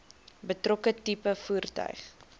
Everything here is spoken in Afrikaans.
betrokke tipe voertuig